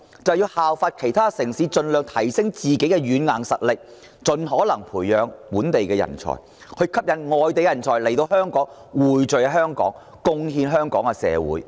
就是效法其他城市，盡量提升自身軟硬實力，盡可能培養本地人才，從而吸引外地人才匯聚香港，貢獻香港社會。